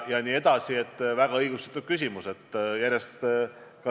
See on väga õigustatud küsimus.